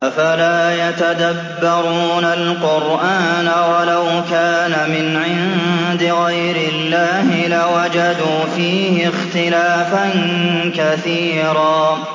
أَفَلَا يَتَدَبَّرُونَ الْقُرْآنَ ۚ وَلَوْ كَانَ مِنْ عِندِ غَيْرِ اللَّهِ لَوَجَدُوا فِيهِ اخْتِلَافًا كَثِيرًا